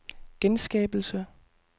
genskabelse